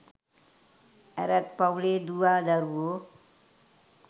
ඇරත් පවුලේ දුවා දරුවෝ